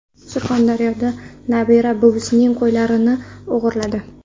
Surxondaryoda nabira buvisining qo‘ylarini o‘g‘irladi.